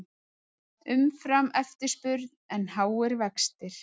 Umframeftirspurn en háir vextir